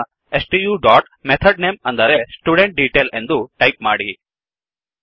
ನಂತರ stu dot method name ಅಂದರೆ student detail ಎಂದು ಟೈಪ್ ಮಾಡಿ